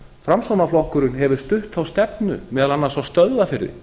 framsóknarflokkurinn hefur stutt þá stefnu meðal annars á stöðvarfirði